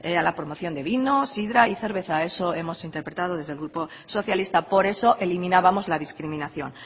a la promoción de vino sidra y cerveza eso hemos interpretado desde el grupo socialista por eso eliminábamos la discriminación